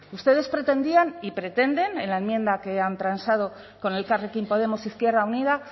ustedes pretendían y pretenden en la enmienda que han transado con elkarrekin podemos izquierda unida